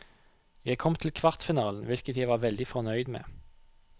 Jeg kom til kvartfinalen, hvilket jeg var veldig fornøyd med.